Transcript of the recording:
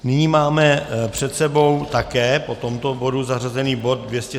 Nyní máme před sebou také po tomto bodu zařazený bod